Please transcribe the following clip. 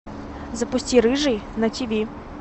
запусти рыжий на тиви